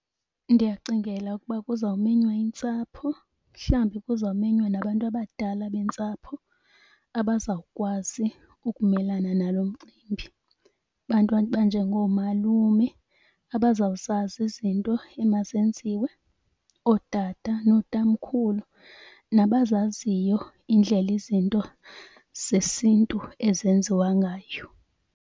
Ndiyacingela ukuba kuzawumenywa intsapho mhlawumbi kuzawumenywa nabantu abadala bentsapho abazawukwazi ukumelana nalo mcimbi. Abantu abanjengoomalume abazawuzazi izinto emazenziwe, ootata nootamkhulu nabazaziyo indlela izinto zesiNtu ezenziwa ngayo.